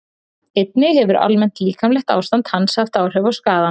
Einnig hefur almennt líkamlegt ástand hans áhrif á skaðann.